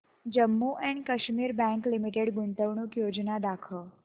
Jammu and Kashmir bank limited गुंतवणूक योजना दाखव